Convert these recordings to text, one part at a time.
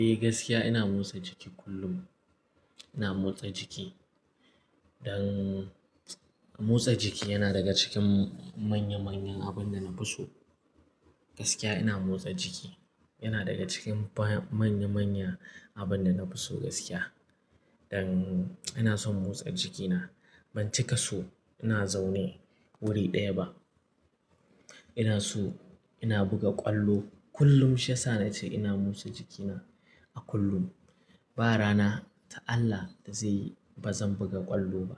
Eh gaskiya ina motsa jiki kullum. Ina motsa jiki. Don motsa jiki yana daga cikin manya manyan abun da na fi so. Gaskiya ina motsa jiki. Yana daga cikin manya manya abun da na fi so gaskiya. Don ina son motsa jikina. Ban cika so ina zaune wuri ɗaya ba. Ina so ina buga ƙwallo kullum. Shi ya sa na ce ina motsa jikina a kullum. Ba rana ta Allah da zai yi ba zan buga ƙwallo ba.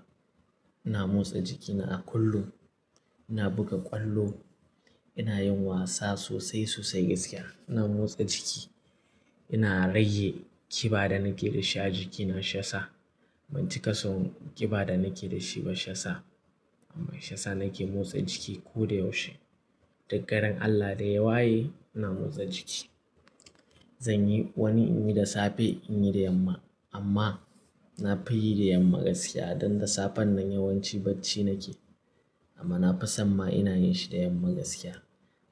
Ina motsa jikina a kullum. Ina buga ƙwallo. Ina yin wasa sosai sosai gaskiya. Ina motsa jiki. Ina rage kiba da nake da shi a jikina shi ya sa. Ban cika son kiba da nake da shi ba shi ya sa. Amma shi ya sa nake motsa jiki ko da yaushe. Duggarin Allah idan ya waye ina motsa jiki. Zanyi wani in yi da safe in yi da yamma. Amma na fi yi da yamma gaskiya don da safen nan yawanci bacci nake. Amma na fison ma ina yin shi da yamma gaskiya.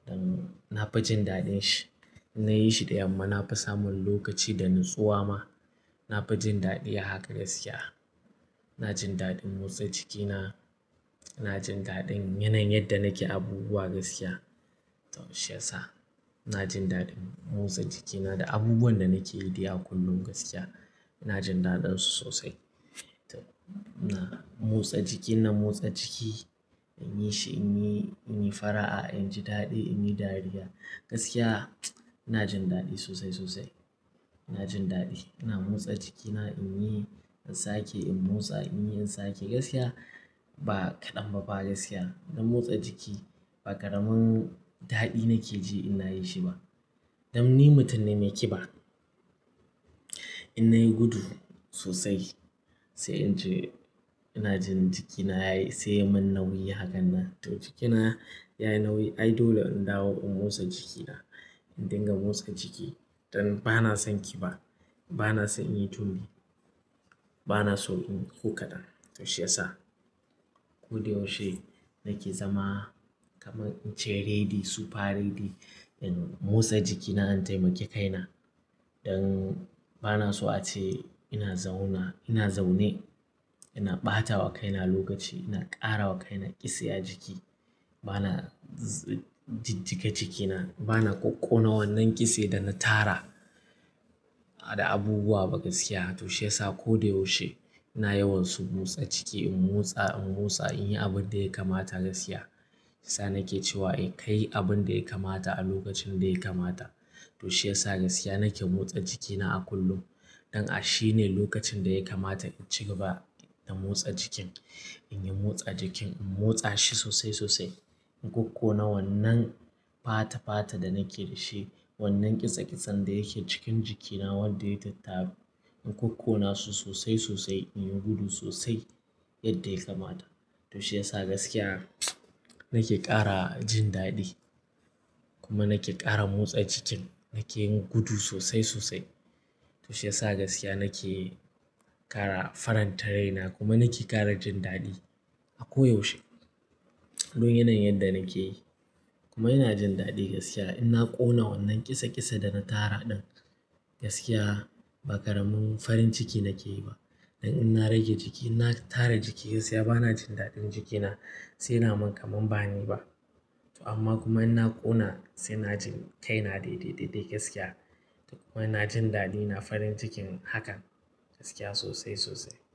Don na fi jin daɗin shi. In na yi shi da yamma na fi samun lokaci da natsuwa ma. Na fi jin daɗi haka gaskiya. Na jin daɗin motsa jikina. Na jin daɗin yanayin yadda nake abubuwa gaskiya. To shi ya sa ina jin daɗin motsa jikina da abubuwan da nake yi dai a kullum gaskiya. Ina jin daɗin su sosai. To ina motsa jiki, ina motsa jiki. In yi shi in yi, in yi fara'a, in ji daɗi, in yi dariya. Gaskiya ina jin daɗi sosai sosai. Ina jin daɗi. Ina motsa jikina in yi insake in motsa in yi insake gaskiya ba kaɗan ba ba gaskiya. Don motsa jiki ba ƙaramin daɗi nake ji in na yin shi ba. Don ni mutum ne mai kiba. In nayi gudu sosai sai in ce ina jin jikina yayi, sai ya min nauyi hakan nan. To jikina yayi nauyi. Ai dole in dawo in motsa jikina. In dinga motsa jiki. Don ba na son kiba. Ba na son in yi tumbi. Ba na so inyi ko kaɗan. To shi ya sa ko da yaushe nake zama kaman in ce ready, super ready in motsa jikina in taimaki kaina. Don ba na so a ce ina zauna, ina zaune. Ina ɓatawa kaina lokaci. Ina ƙara wa kaina ƙise a jiki. Ba na jijjiga jikina. Ba na ƙokƙona wannan ƙise da na tara da abubuwa ba gaskiya. To shi ya sa ko da yaushe ina yawan son motsa ciki. In motsa, in motsa, in yi abun da ya kamata gaskiya. Shi sa nake cewa in kai abun da ya kamata a lokacin da ya kamata. To shi ya sa gaskiya nake motsa jikina a kullum. Don a shi ne lokacin da ya kamata in ci gaba da motsa jikin. In yi motsa jikin. In motsa shi sosai sosai. In ƙokƙona wannan fata fata da nake da shi. Wannan ƙisa ƙisan da yake cikin jikina wanda ya yi tattabu. In ƙokƙona su sosai sosai. In yi gudu sosai yadda ya kamata. To shi ya sa gaskiya nake ƙara jin daɗi. Kuma nake ƙara motsa jikin. Nake yin gudu sosai sosai. To shi ya sa gaskiya nake ƙara faranta raina kuma nake ƙara jin daɗi a ko yaushe. Don yanayin yadda nake yi, kuma ina jin daɗi gaskiya in na ƙona wannan ƙisa ƙise da na tara ɗin. Gaskiya ba ƙaramin farin ciki nake yi ba. Don in na rage jiki, in na tara jiki gaskiya ba na jin daɗin jikina sai yana min kaman bani ba. To amma kuma in na ƙona sai na ji kaina daidai daidai gaskiya. To kuma ina jin daɗina farin cikin hakan gaskiya sosai sosai.